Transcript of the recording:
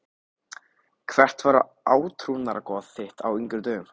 Hvert var átrúnaðargoð þitt á yngri árum?